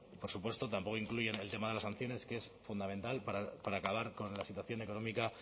por supuesto tampoco incluyen el tema de los que es fundamental para acabar con la situación económica